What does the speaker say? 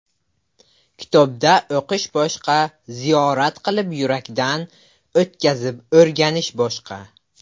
Kitobda o‘qish boshqa, ziyorat qilib, yurakdan o‘tkazib o‘rganish boshqa.